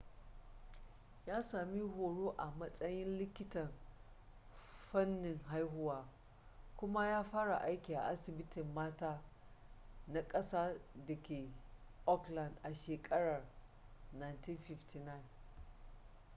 ya sami horo a matsayin likitan fannin haihuwa kuma ya fara aiki a asibitin mata na ƙasa da ke auckland a shekarar 1959